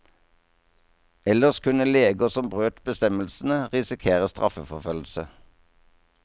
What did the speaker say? Ellers kunne leger som brøt bestemmelsene risikere straffeforfølgelse.